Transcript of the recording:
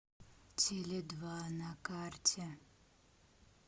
теледва на карте